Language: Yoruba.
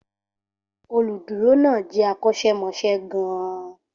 Olùdúró náà jẹ́ akọ́ṣẹ́mọṣẹ́ gan-an.